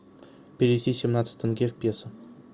перевести семнадцать тенге в песо